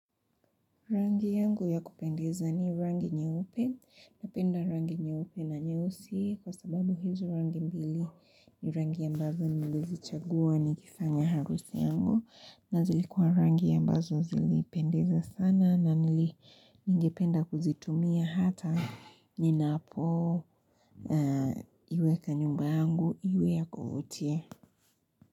Rangi yangu ya kupendeza ni rangi nyeupe napenda rangi nyeupe na nyeusi kwa sababu hizo rangi mbili ni rangi ambazo nilizichagua nikifanya harusi yangu na zilikuwa rangi ambazo zilipendeza sana na nilipenda kuzitumia hata ninapoiweka nyumba yangu iwe ya kuvutia.